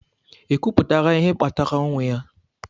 Ekwuputara ihe kpatara ọnwụ ya?